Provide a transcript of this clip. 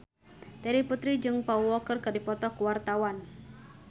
Terry Putri jeung Paul Walker keur dipoto ku wartawan